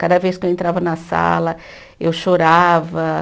Cada vez que eu entrava na sala, eu chorava.